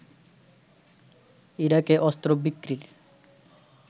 ইরাকে অস্ত্র বিক্রির